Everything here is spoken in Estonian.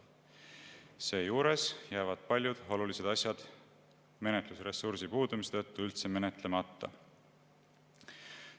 Seejuures jäävad paljud olulised asjad menetlusressursi puudumise tõttu üldse menetlemata.